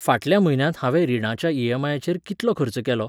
फाटल्या म्हयन्यांत हांवें रिणाच्या ई.एम.आय.चेर कितलो खर्च केलो?